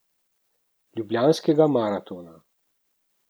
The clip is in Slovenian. Ljubljanskega maratona.